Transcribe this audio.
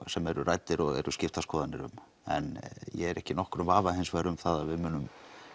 sem eru ræddir og eru skiptar skoðanir um en ég er ekki í nokkrum vafa um að við munum